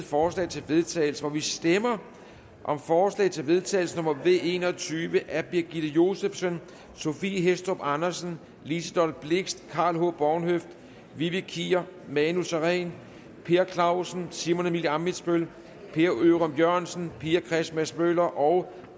forslag til vedtagelse vi stemmer om forslag til vedtagelse nummer v en og tyve af birgitte josefsen sophie hæstorp andersen liselott blixt karl h bornhøft vivi kier manu sareen per clausen simon emil ammitzbøll per ørum jørgensen pia christmas møller og